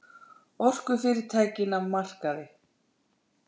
Orkufyrirtækin af markaði